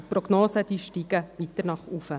Die Prognosen steigen weiter nach oben.